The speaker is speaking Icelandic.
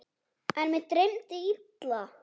En mig dreymdi illa.